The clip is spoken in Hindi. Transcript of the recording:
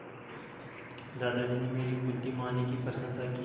दादाजी ने मेरी बुद्धिमानी की प्रशंसा की